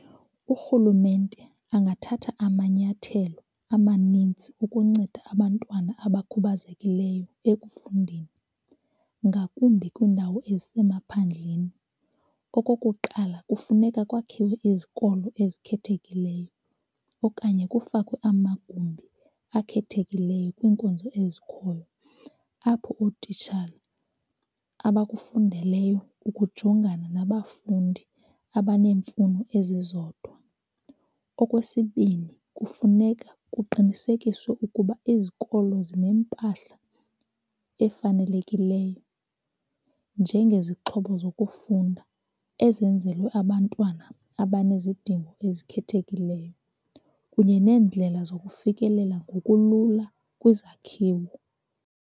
Urhulumente angathatha amanyathelo amanintsi ukunceda abantwana abakhubazekileyo ekufundeni, ngakumbi kwiindawo ezisemaphandleni. Okokuqala, kufuneka kwakhiwe izikolo ezikhethekileyo okanye kufakwe amagumbi akhethekileyo kwiinkonzo ezikhoyo apho ootitshala abakufundeleyo ukujongana nabafundi abanemfuno ezizodwa. Okwesibini, kufuneka kuqinisekiswe ukuba izikolo zinempahla efanelekileyo njengezixhobo zokufunda ezenzelwe abantwana abanezidingo ezikhethekileyo kunye neendlela zokufikelela ngokulula kwizakhiwo.